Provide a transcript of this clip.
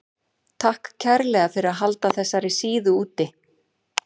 Takk kærlega fyrir að halda þessari síðu úti.